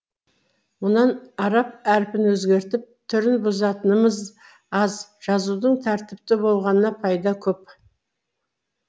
мұнан араб әріпін өзгертіп түрін бұзатынымыз аз жазудың тәртіпті болғанына пайда көп